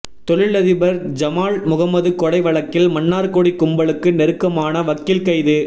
தொழிலதிபர் ஜமால் முகமது கொலை வழக்கில் மன்னார்குடி கும்பலுக்கு நெருக்கமான வக்கீல் கைது